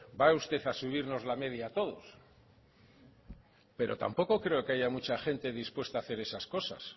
va usted a subirnos la media a todos pero tampoco creo que haya mucha gente dispuesta a hacer esas cosas